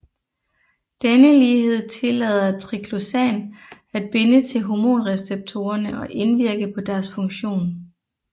Denne lighed tillader triclosan at binde til hormonreceptorerne og indvirke på deres funktion